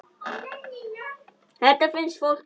Þetta finnst fólki alveg magnað.